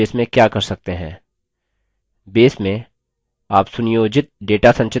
base में आप सुनियोजित data संचित कर सकते हैं